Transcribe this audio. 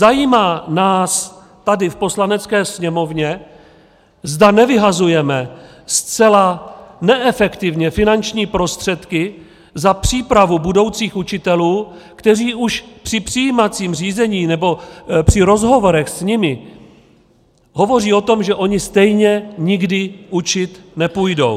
Zajímá nás tady v Poslanecké sněmovně, zda nevyhazujeme zcela neefektivně finanční prostředky za přípravu budoucích učitelů, kteří už při přijímacím řízení nebo při rozhovorech s nimi hovoří o tom, že oni stejně nikdy učit nepůjdou?